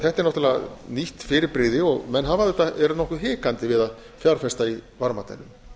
þetta er náttúrlega nýtt fyrirbrigði menn eru nokkuð hikandi við að fjárfesta í varmadælum